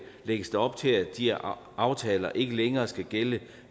lægges der op til at de aftaler ikke længere skal gælde